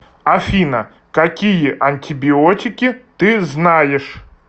афина какие антибиотики ты знаешь